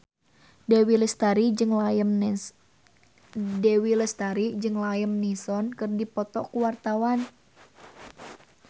Dewi Lestari jeung Liam Neeson keur dipoto ku wartawan